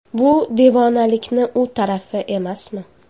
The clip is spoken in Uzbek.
Bu devonalikni u tarafi emasmi?